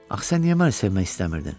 Axı sən niyə məni sevmək istəmirdin?